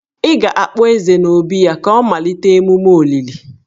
Ị ga-akpọ Eze n'obí ya ka a malite emume olili.